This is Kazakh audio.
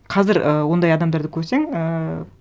қазір і ондай адамдарды көрсең ііі